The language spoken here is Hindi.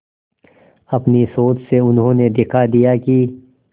अपनी सोच से उन्होंने दिखा दिया कि